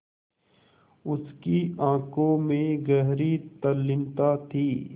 उसकी आँखों में गहरी तल्लीनता थी